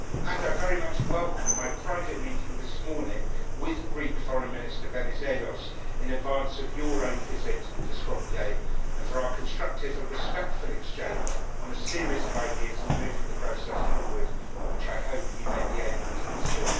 I also very much welcome my private meeting this morning with Greek Foreign Minister Venizelos in advance of his own visit to Skopje, and our constructive and respectful exchange on a series of ideas for moving the process forward, which I hope he may be able to pursue.